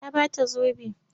Ya ba ta zobe.